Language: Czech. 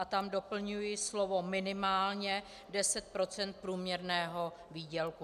A tam doplňuji slovo - minimálně - 10 % průměrného výdělku.